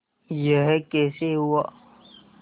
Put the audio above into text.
यह कैसे हुआ